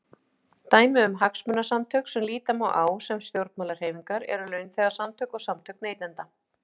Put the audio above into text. Dæmi um hagsmunasamtök sem líta má á sem stjórnmálahreyfingar eru launþegasamtök og samtök neytenda.